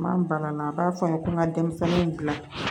N'an banana a b'a fɔ n ye ko n ka denmisɛnninw dilan